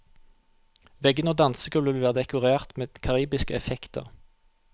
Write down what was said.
Veggene og dansegulvet vil være dekorert med karibiske effekter.